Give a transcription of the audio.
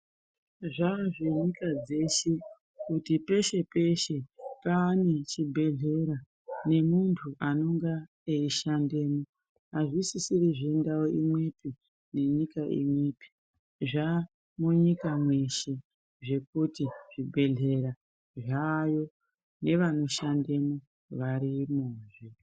Zvazvenyika dzeshe kuti peshe peshe pane chibhedhlera nemuntu anonga eishandemwo azvisisiri zvendau imwepi nenyika imwepi zvamunyika mwese zvekuti zvibhedhlera zvayo nevanoshandemwo varimozve